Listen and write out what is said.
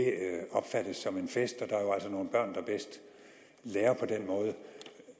opfattes som en fest og nogle børn der bedst lærer på den måde